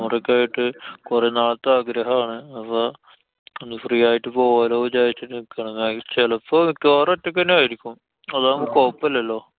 ആയിട്ട്. കൊറേ നാളെത്തെ ആഗ്രഹാണ്. അപ്പൊ ഒന്നു free ആയിട്ടു പോവാലോ വിചാരിച്ചിട്ട് നിക്കാണ്. ന്നാ ചെലപ്പോ മിക്കവാറും ഒറ്റക്കന്നായിരിക്കും. അതാവുമ്പോ കൊയപ്പല്ലല്ലോ.